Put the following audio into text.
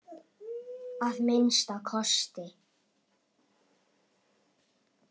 Að minnsta kosti.